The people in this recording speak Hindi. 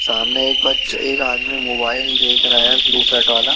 सामने एक बच्च एक आदमी मोबाइल देख रहा है ब्लू शर्ट वाला।